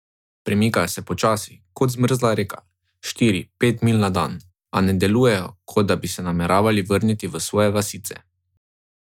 Premikajo se počasi, kot zmrzla reka, štiri, pet milj na dan, a ne delujejo, kot da bi se nameravali vrniti v svoje vasice.